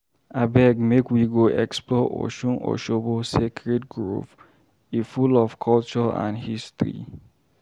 Abeg, make we go explore Osun-Osogbo Sacred Grove, e full of culture and history.